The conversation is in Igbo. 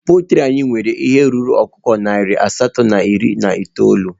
Poltri anyị nwere ihe karịrị ọkụkọ nari asatọ na iri na itoolu